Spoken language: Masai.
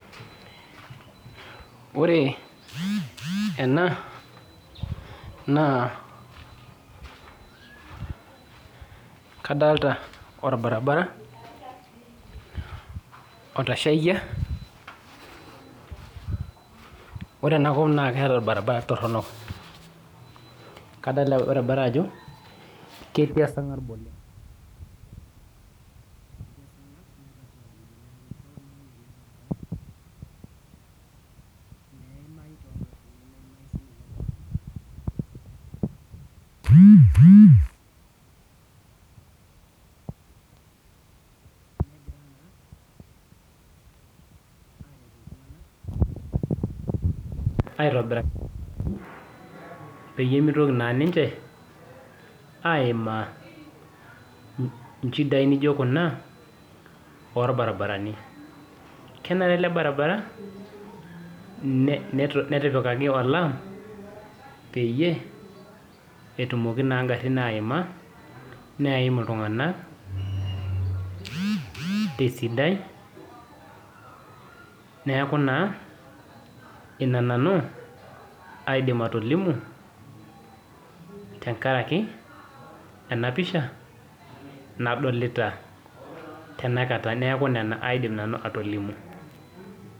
Ore ena na kadolta orbaribara otashakia ore enakop na keeta orbaribara toronok oleng adolta ajo ketii esarngab oleng netti meimai tongarin nemeimai tonkejek aitobiraki pemitoki ninche aimaa nchidai nijo kuna orbaribarani kenare elebaribara netipikaki olaam petumoki ngarin aimaa neim iltunganak esidai neaku ina nanu aidim atolimu tenkaraki enapisha nadolita tanakata neaku nona nau aidim atolimu